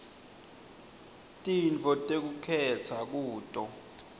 tintfo tekukhetsa kuto